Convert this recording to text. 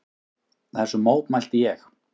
Þessu mótmælti ég.